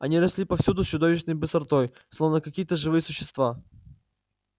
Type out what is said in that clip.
они росли повсюду с чудовищной быстротой словно какие то живые существа